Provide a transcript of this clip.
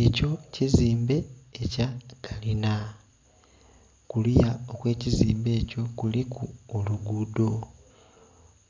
Ekyo kizimbe ekya kalinha kuliya okwe kizimbe ekyo kuliku olugudho,